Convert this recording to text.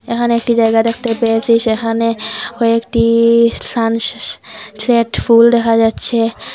এখানে একটি জায়গা দেখতে পেয়েছি সেখানে কয়েকটি সান সে-সে-সেট ফুল দেখা যাচ্ছে।